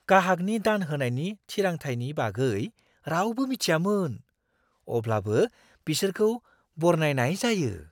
गाहागनि दान होनायनि थिरांथायनि बागै रावबो मिथियामोन, अब्लाबो बिसोरखौ बरनायनाय जायो!